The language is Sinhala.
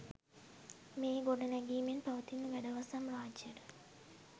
මේ ගොඩනැගෙමින් පවතින වැඩවසම් රාජ්‍යයට